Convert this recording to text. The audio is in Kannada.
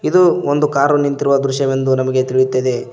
ಇದು ಒಂದು ಕಾರು ನಿಂತಿರುವ ದೃಶ್ಯವೆಂದು ನಮಗೆ ತಿಳಿಯುತ್ತದೆ.